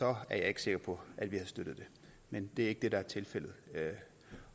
er jeg ikke sikker på at vi havde støttet det men det er ikke det der er tilfældet